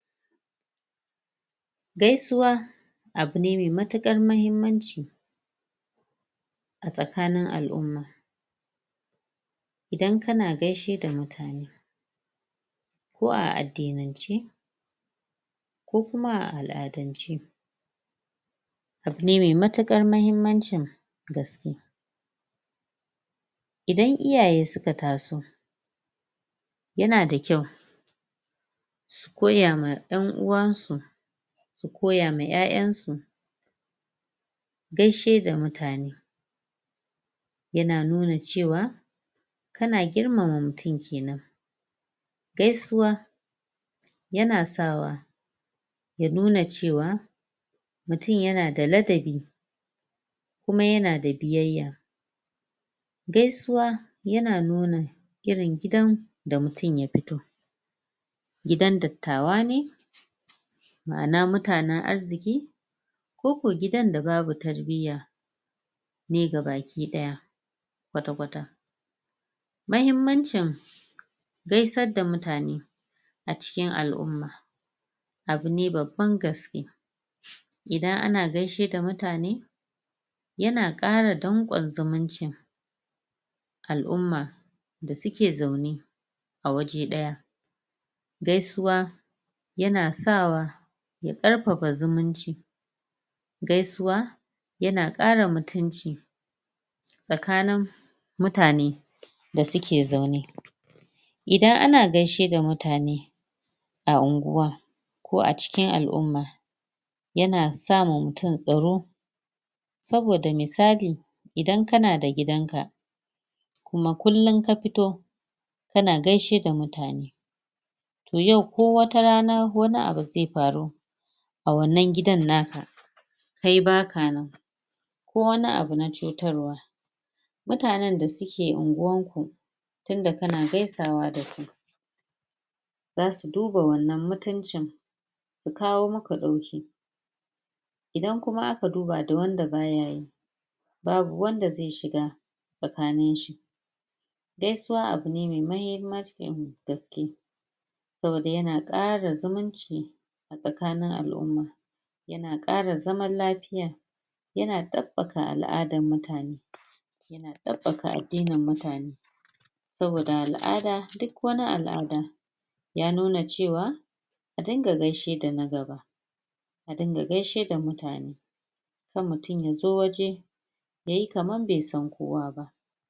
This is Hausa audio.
Gaisuwa abu ne mai matuƙar mahimmanci a tsakanin al'umma, idan ka na gaishe da mutane ko a addinance ko kuma a al'adance, abu ne mai matuƙar mahimmancin gaske, idan iyaye su ka ta so ya na da kyau su koya ma 'yan uwansu, su koya ma 'ya'yansu gaishe da mutane ya na nuna cewa kana girmama mutum kenan, gaisuwa ya na sawa ya nuna ce wa mutum ya na da ladabi kuma ya na da biyayya, gaisuwa ya na nuna irin gidan da mutum ya fito, gidan dattawa ne ma'ana mutanen arziƙi, ko ko gidan da babu tarbiya ne ga baki ɗaya kwata-kwata. Mahimmancin gaishe da mutane a cikin al'umma, abune babban gaske, idan ana gaishe da mutane ya na ƙara danƙon zumuncin al'umma da suke zaune a waje ɗaya, gaisuwa ya na sawa ya ƙarfafa zumunci, gaisuwa ya na ƙara mutunci tsakanin mutane da suke zaune idan ana gaishe da mutane a unguwa ko a cikin al'umma, ya na sa ma mutum tsaro saboda misali idan kanada gidanka kuma kullum ka fito ka na gaishe da mutane, to yau ko wata rana wani abu zai faru a wannan gidan naka kai baka nan ko wani abu na cutarwa mutanen da su ke unguwarku tunda ka na gaisawa da su, za su duba wannan mutuncin su kawo maka ɗauki, idan kuma aka duba da wanda ba ya yi, babu wanda zai shiga tsakaninshi, gaisuwa abu ne mai mahimmancin gaske, saboda ya na ƙara zumunci tsakanin al'umma, ya na ƙara zaman lafiya, ya na ɗabbaƙa al'adar mutane, ya na ɗabbaƙa addinin mutane, saboda al'ada duk wani al'ada ya nuna ce wa a dinga gaishe da na gaba, a dinga gaishe da mutane, kar mutum ya zo waje ya yi kamar bai san kowa ba.